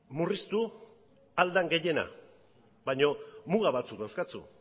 murriztu ahal den gehiena baino muga batzuk dauzkazu